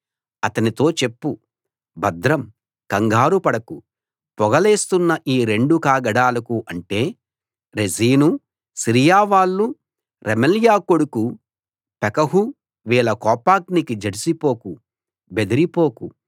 అతనితో చెప్పు భద్రం కంగారు పడకు పొగ లేస్తున్న ఈ రెండు కాగడాలకు అంటే రెజీను సిరియా వాళ్ళు రెమల్యా కొడుకు పెకహువీళ్ళ కోపాగ్నికి జడిసి పోకు బెదిరిపోకు